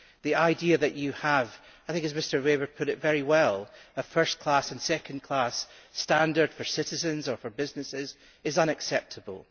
The idea that you have I think Mr Weber put it very well a first class and second class standard for citizens or for businesses is unacceptable.